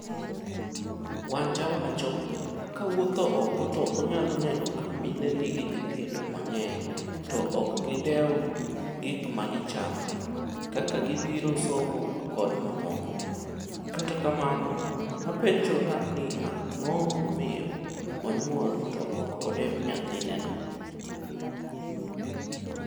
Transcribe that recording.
Wanja wacho 'Kawuotho oko to onyalo neno ka mine nigi nyithindo mang'eny to ok gi deo gik magi chamo ,kaka gibiro somo kod mamoko. kata kamano apenjora ni ang'o momiyo onyuol to ok odeo nyathine no?'